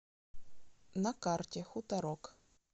на карте хуторок